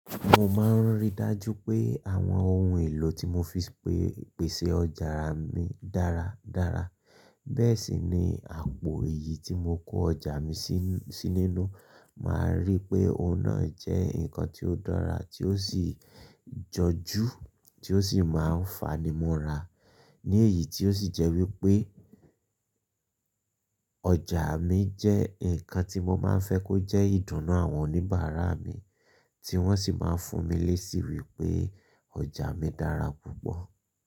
Mo máa ń ríi dájú pé àwọn ohun èlò tí mo fi pe pèsè ọjà mi dára dára. Bẹ́ẹ̀ sì ni àpò eyì tí mo kó ọjà mi sí nínú. Máa rí i pé òun náà jẹ́ nǹkan tí ó dára tí ó sì jọ̀jú, tí ó sì máa ń fanimọ́ra. Ní èyí tí ó sì jẹ́ wípé ọjà mi jẹ́ ǹkan tí mo máa ń fẹ́ kó jẹ́ ìdùnnú àwọn oníbàárà mi, tí wọ́n sì máa ń fún mi lésí wípé ọjà mi dára púpọ̀.